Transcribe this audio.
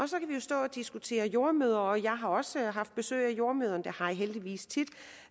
så kan vi stå og diskutere jordemødre jeg har også haft besøg af jordemødre det har jeg heldigvis tit